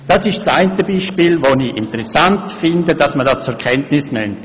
Dies ist das eine Beispiel, das ich interessant finde und Ihnen zur Kenntnis bringen wollte.